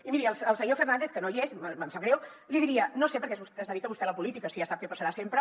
i miri al senyor fernàndez que no hi és em sap greu li diria no sé per què es dedica vostè a la política si ja sap què passarà sempre